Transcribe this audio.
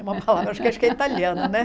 É uma palavra, acho que é italiano, né?